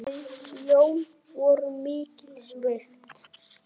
Þau Jón voru mikils virt.